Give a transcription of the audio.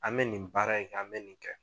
An bɛ nin baara in kɛ an bɛ nin kɛ.